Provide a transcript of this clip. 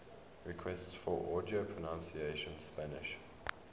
requests for audio pronunciation spanish